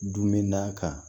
Dunminɛn kan